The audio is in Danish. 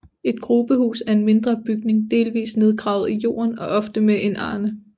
Et grubehus er en mindre bygning delvist nedgravet i jorden og ofte med en arne